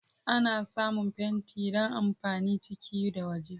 Ana samun fenti don amfanin ciki da waje.